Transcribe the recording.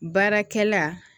Baarakɛla